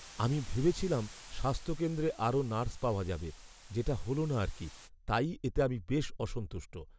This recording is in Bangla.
"আমি ভেবেছিলাম স্বাস্থ্যকেন্দ্রে আরও নার্স পাওয়া যাবে, যেটা হল না আর কি, তাই এতে আমি বেশ অসন্তুষ্ট।"